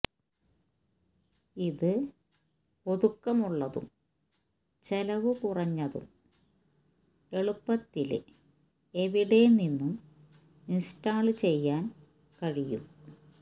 ഇത് ഒതുക്കമുള്ളതും ചെലവ് കുറഞ്ഞതും എളുപ്പത്തില് എവിടെനിന്നും ഇന്സ്റ്റാള് ചെയ്യാന് കഴിയും